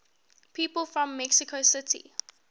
people from mexico city